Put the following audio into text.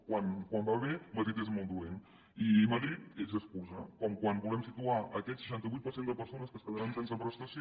quan va bé madrid és molt dolent i madrid és excusa com quan volem situar aquest seixanta vuit per cent de persones que es quedaran sense prestació